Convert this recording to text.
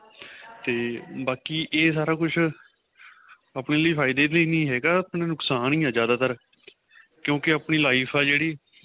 ਤੇ ਬਾਕੀ ਏਹ ਸਾਰਾ ਕੁੱਛ ਆਪਣੇਂ ਲਈ ਫਾਇਦੇ ਲਈ ਨਹੀਂ ਹੈਗਾ ਆਪਣਾ ਨੁਕਸ਼ਾਨ ਹੀ ਏ ਜਿਆਦਾਤਰ ਕਿਉਂਕਿ ਆਪਣੀ life ਏ ਜਿਹੜੀ